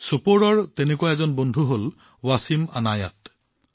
সোপোৰৰ তেনে এজন সহযোগী হৈছে ৱাছীম অনায়াত